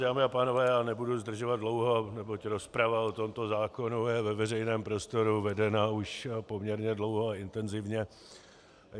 Dámy a pánové, já nebudu zdržovat dlouho, neboť rozprava o tomto zákonu je ve veřejném prostoru vedena už poměrně dlouho a intenzivně.